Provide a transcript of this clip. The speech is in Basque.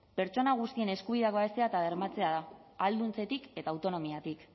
pertsona guztien eskubideak babestea eta bermatzea da ahalduntzetik eta autonomiatik